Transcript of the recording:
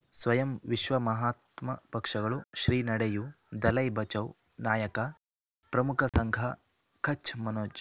ಸ್ವಯಂ ವಿಶ್ವ ಮಹಾತ್ಮ ಪಕ್ಷಗಳು ಶ್ರೀ ನಡೆಯೂ ದಲೈ ಬಚೌ ನಾಯಕ ಪ್ರಮುಖ ಸಂಘ ಕಚ್ ಮನೋಜ್